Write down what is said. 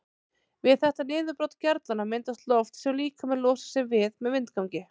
Við þetta niðurbrot gerlanna myndast loft sem líkaminn losar sig við með vindgangi.